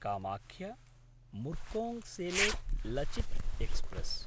कामाख्य–मुर्कोङ्सेलेक् Lachit express